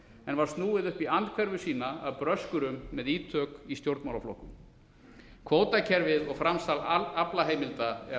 en var snúin upp í andhverfu sína af bröskurum með ítök í stjórnmálaflokkum kvótakerfið og framsal aflaheimilda er